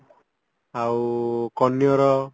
ଆଉ କନିଅର